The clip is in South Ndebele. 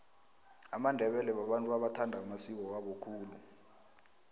amandebele babantu abathanda amasiko wabo khulu